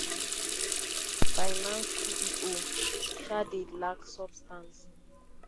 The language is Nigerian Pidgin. binance ceo um dey lack substance.